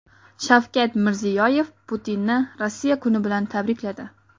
Shavkat Mirziyoyev Putinni Rossiya kuni bilan tabrikladi.